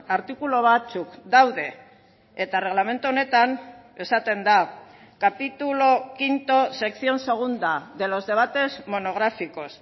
artikulu batzuk daude eta erregelamendu honetan esaten da capítulo quinto sección segunda de los debates monográficos